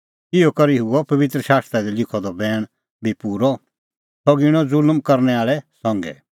इहअ करै हुअ पबित्र शास्त्रा दी लिखअ द बैण बी पूरअ सह गिणअ ज़ुल्म करनै आल़ै संघै